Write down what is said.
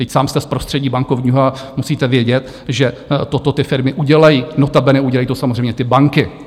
Vždyť sám jste z prostředí bankovního a musíte vědět, že toto ty firmy udělají, notabene udělají to samozřejmě ty banky.